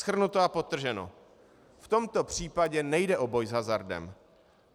Shrnuto a podtrženo, v tomto případě nejde o boj s hazardem.